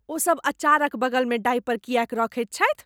ओसभ अचारक बगलमे डायपर किएक रखैत छथि?